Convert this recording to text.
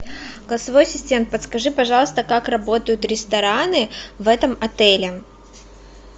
голосовой ассистент подскажи пожалуйста как работают рестораны в этом отеле